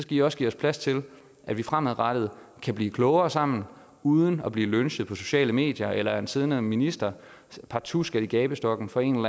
i også give os plads til at vi fremadrettet kan blive klogere sammen uden at blive lynchet på sociale medier eller at en siddende minister partout skal i gabestokken for en